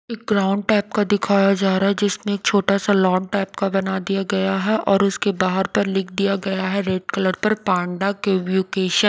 एक brown type का दिखाया जा रहा है जिसमें एक छोटा सा लॉन टाइप का बना दिया गया है और उसके बाहर पर लिख दिया गया है रेड कलर पर पांडा केवयुकेशन।